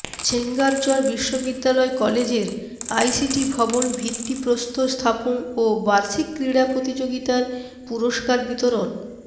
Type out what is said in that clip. ছেঙ্গারচর বিশ্ববিদ্যালয় কলেজের আইসিটি ভবন ভিত্তিপ্রস্তর স্থাপন ও বার্ষিক ক্রীড়া প্রতিযোগীতার পুরস্কার বিতরণ